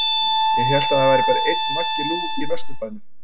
Ég hélt að það væri bara einn Maggi Lú í Vesturbænum?